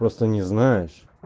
просто не знаешь